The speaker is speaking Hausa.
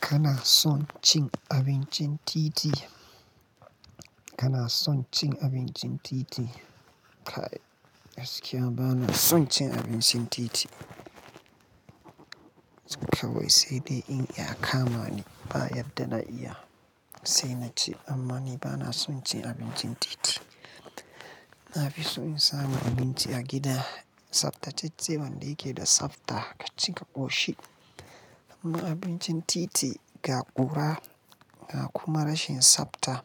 Kana son cin abincin titi? Kana son cin abincin titi? Kai, gaskiya bana son cin abincin titi. Kawai sai dai in ya kama ne ba yanda na iya, sai na ci amma ni bana son cin abincin titi. Na fi so in samu abinci a gida, tsafta ce tsebban da yake da tsafta ka ci ka ƙoshi. Amma abincin titi ga ƙura ga kuma rashin tsafta